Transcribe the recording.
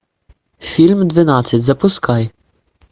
фильм двенадцать запускай